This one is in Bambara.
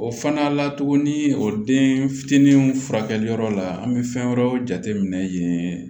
O fana la tugunni o den fitinin furakɛli yɔrɔ la an be fɛn wɛrɛw jateminɛ yen